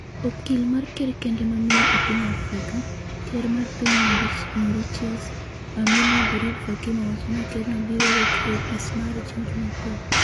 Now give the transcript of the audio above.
okil mar ker kende ma miyo e piny Afrika, ker mar piny Mauritius, Ameenah Gurib-Fakim ​​owacho ni kerno biro wuok e opis mare chieng' Jumapil.